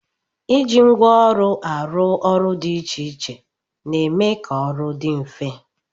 Iji ngwa ọrụ arụ ọrụ dị iche iche na-eme ka ọrụ dị mfe